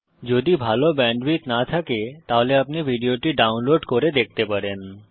যদি ভাল ব্যান্ডউইডথ না থাকে তাহলে আপনি ভিডিওটি ডাউনলোড করে দেখতে পারেন